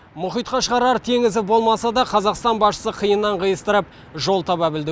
мұхитқа шығарар теңізі болмаса да қазақстан басшысы қиыннан қиыстырып жол таба білді